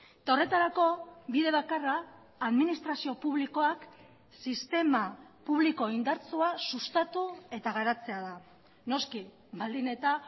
eta horretarako bide bakarra administrazio publikoak sistema publiko indartsua sustatu eta garatzea da noski baldin eta